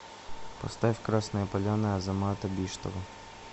поставь красная поляна азамата биштова